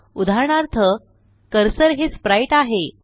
उदाहरणार्थ कर्सर हे spriteआहे